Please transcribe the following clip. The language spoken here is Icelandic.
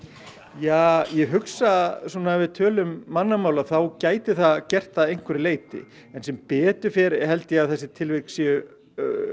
ja ég hugsa ef við tölum mannamál þá gæti það gert það að einhverju leyti en sem betur fer held ég að þessi tilvik séu